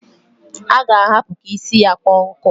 A g' ahapu ka isi ya kpọọ nkụ.